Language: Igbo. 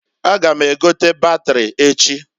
A ga m egote batiri echi.